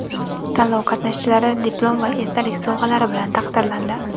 Tanlov qatnashchilari diplom va esdalik sovg‘alari bilan taqdirlandi.